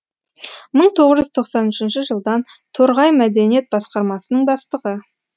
мың тоғыз жүз тоқсан үшінші жылдан торғай мәдениет басқармасының бастығы